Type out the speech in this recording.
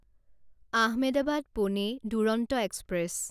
Ahmedabad Pune Duronto express